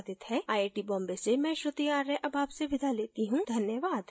यह स्क्रिप्ट बिंदु पांडे द्वारा अनुवादित है आईआईटी बॉम्बे की ओर से मैं श्रुति आर्य अब आपसे विदा लेती हूँ धन्यवाद